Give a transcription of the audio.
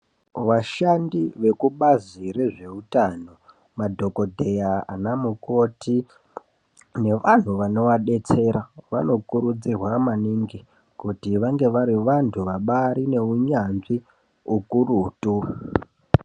Vashandi vekubazi rezveutano, madhokodheya ana mukoti nevanthu vanovadetsera vanokurudzirwa maningi kuti vange vari vanthu vabaari neunyanzvi ukurutu.